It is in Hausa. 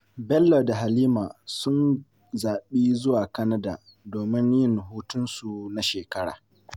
Bello da Halima sun zaɓi zuwa Canada domin yin hutunsu na shekara.